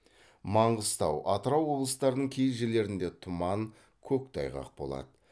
манғыстау атырау облыстарының кей жерлерінде тұман қөқтайғақ болады